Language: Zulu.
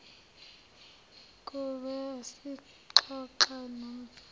ngumveli uxoxa nomzala